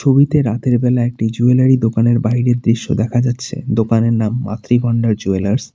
ছবিতে রাতের বেলায় একটি জুয়েলারি দোকানের বাইরের দৃশ্য দেখা যাচ্ছে দোকানের নাম মাতৃ ভান্ডার জুয়েলার্স ।